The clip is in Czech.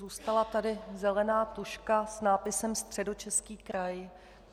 Zůstala tady zelená tužka s nápisem Středočeský kraj.